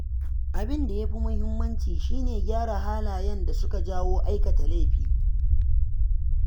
Abin da ya fi muhimmanci shi ne gyara halayen da suke jawo aikata laifi.